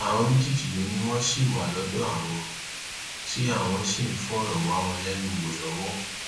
àwọn méjèèjì ló ní wọn ṣì wà lọdọ àwọn tí àwọn sì ń fọrọ wá wọn lẹnu wò lọwọ